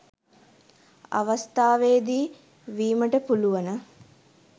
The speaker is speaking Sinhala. අවස්ථාවේදී වීමට පුළුවන.